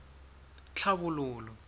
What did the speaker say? tlhabololo